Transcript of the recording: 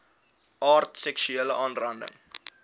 aard seksuele aanranding